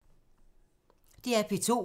DR P2